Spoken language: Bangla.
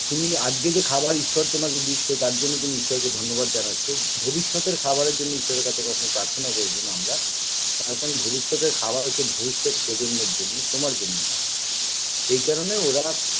তুমি আজকে যে খাবার ঈশ্বর তোমাকে দিচ্ছে তার জন্য তুমি ঈশ্বরকে ধন্যবাদ জানাচ্ছো ভবিষ্যতের খাবারের জন্যে ঈশ্বরের কাছে কখনও প্রার্থনা করবোনা আমরা তার কারণ হচ্ছে ভবিষ্যতের খাবার হচ্ছে ভবিষ্যৎ প্রজন্মের জন্যে তোমার জন্য নয় এই কারনে ওরা